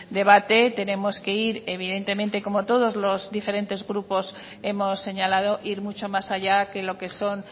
debate tenemos que ir evidentemente como todos los diferentes grupos hemos señalado ir mucho más allá que lo que son